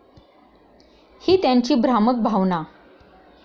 ही त्यांची भ्रामक भावना.